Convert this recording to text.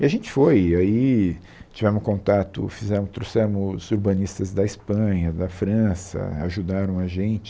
E a gente foi, e aí tivemos contato, fizemos trouxemos urbanistas da Espanha, da França, ajudaram a gente.